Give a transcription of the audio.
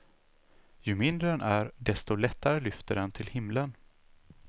Ju mindre den är desto lättare lyfter den till himlen.